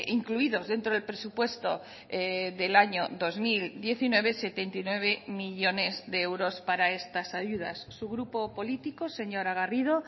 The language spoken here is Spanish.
incluidos dentro del presupuesto del año dos mil diecinueve setenta y nueve millónes de euros para estas ayudas su grupo político señora garrido